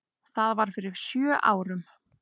Það var fyrir sjö árum.